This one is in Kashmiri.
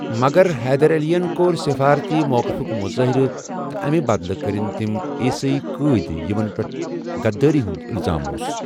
مگرحیدر علی یَن کوٚر سِفارتی موقفٗك مُظٲہِرٕ تہٕ امہِ بدلہٕ کٔرِن تِم عیسٲۍ قٲد یِمن پیٹھ غدٲری ہُنٛد اِلزام اوُس ۔